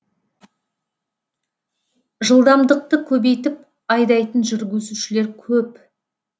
жылдамдықты көбейтіп айдайтын жүргізушілер көп